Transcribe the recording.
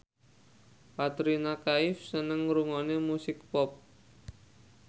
Katrina Kaif seneng ngrungokne musik pop